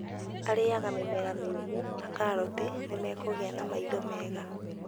Arĩaga mĩmera mĩũmũ ta karoti nĩ mekũgĩa na maitho mega.